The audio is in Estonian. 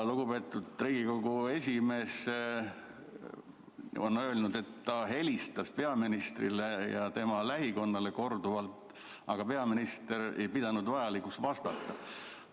Lugupeetud Riigikogu esimees on öelnud, et ta helistas peaministrile ja tema lähikonnale korduvalt, aga peaminister ei pidanud vajalikuks vastata.